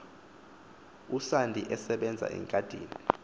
usandi esebenza egadini